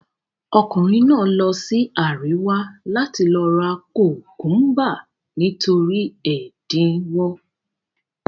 Ọkùnrin náà lọ sí àríwá láti lọ ra kùkúḿbà, nítorí ẹ̀dínwó.